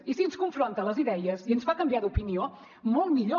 i si ens confronta les idees i ens fa canviar d’opinió molt millor